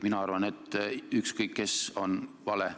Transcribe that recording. Mina arvan, et ükskõik kes on vale.